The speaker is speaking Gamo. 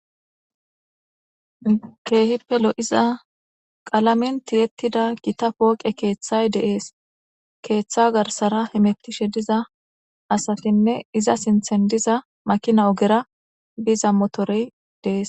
Keehippe lo'iza qalamen tiyettida gita pooqe keeththay deees keeththa garsara hemettishe diza asafinne iza sinthen diza makina ogera biza motorey deees